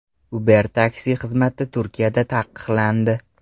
Uber taksi xizmati Turkiyada taqiqlandi.